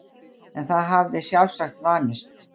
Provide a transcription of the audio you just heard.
En það hafði sjálfsagt vanist.